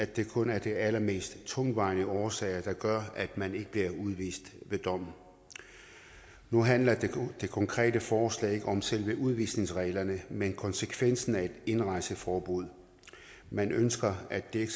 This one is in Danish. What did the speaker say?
det kun er de allermest tungtvejende årsager der gør at man ikke bliver udvist ved dommen nu handler det konkrete forslag ikke om selve udvisningsreglerne men om konsekvensen af et indrejseforbud man ønsker at det